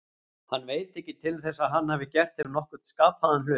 Hann veit ekki til þess að hann hafi gert þeim nokkurn skapaðan hlut.